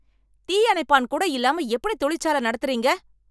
தீ அணைப்பான் கூட இல்லாம எப்படி தொழிற்சால நடத்துறீங்க?